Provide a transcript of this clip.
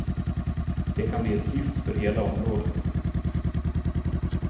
Det kan bli ett lyft för hela området.